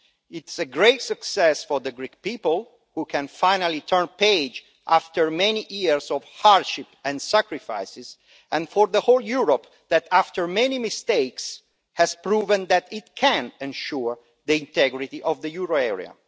It is a great success for the Greek people, who can finally turn the page after many years of hardship and sacrifices, and for the whole of Europe, which, after many mistakes, has proved that it can ensure the integrity of the euro area.